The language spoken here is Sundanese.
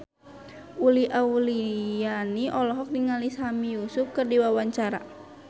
Uli Auliani olohok ningali Sami Yusuf keur diwawancara